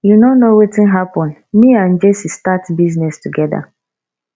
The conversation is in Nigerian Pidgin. you no know wetin happen me abd jesse start business together